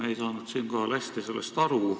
Me ei saanud sellest hästi aru.